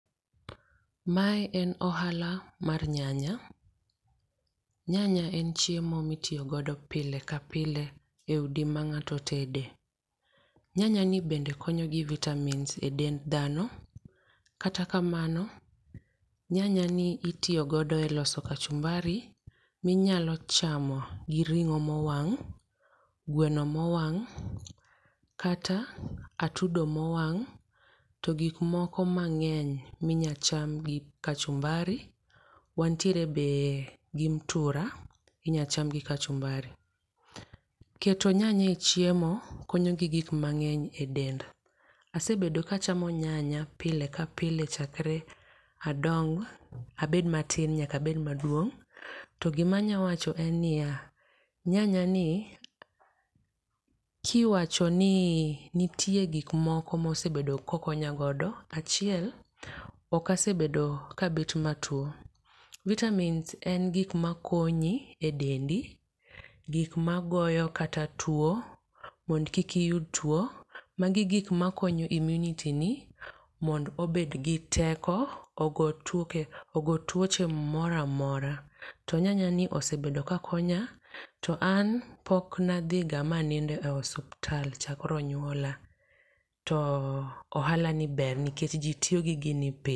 Mae en ohala mar nyanya. Nyanya en chiemo mitiyogodo pile ka pile e udi ma ng'ato tede. Nyanyani bende konyo gi vitamins e dend dhano, kata kamano, nyanyani itiyogodo e loso kachumbari minyalo chamo gi ring'o mowang',gweno mowang' ,kata atudo mowang', to gik moko mang'eny minyacham gi kachumbari. Wantiere be, gi mtura, minyacham gi kachumbari. Keto nyanya e chiemo konyo gi gik mang'eny e dend. Asebedo kachamo nyanya pile ka pile chakre adong, abed matin nyaka abed maduong'.To gima anya wacho en niya, nyanyani, kiwacho ni nitie gik moko mosebedo ka okonya godo, achiel, ok asebedo ka abet matuo. Vitamins en gik makonyo e dendi ,gik magoyo kata tuo, mondo kik iyud tuo, magi e gik makonyo immunity ni, mond' obed gi teko, ogo tuoche moro amora. To nyanyani osebedo ka konya, to an pok nadhiga manindo e osuptal chakre ne nyuola. To ohalani ber nikech ji tiyo gi gini pile.